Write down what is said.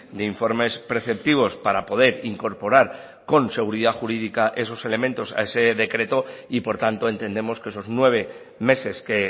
de informes preceptivos para poder incorporar con seguridad jurídica esos elementos a ese decreto y por tanto entendemos que esos nueve meses que